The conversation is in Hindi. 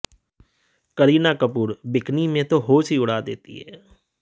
करीना कपूर बिकनी में तो होश ही उड़ा देती हैं